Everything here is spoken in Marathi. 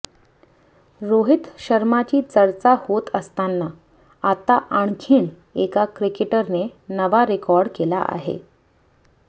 रोहित शर्माची चर्चा होत असताना आता आणखीन एका क्रिकेटरने नवा रेकॉर्ड केला आहे